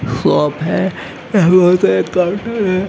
Shop है यहां पर तो एक काउंटर है।